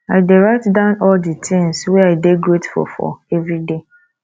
i dey write down all di tins wey i dey grateful for everyday